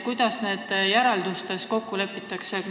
Kuidas nendes järeldustes kokku lepitakse?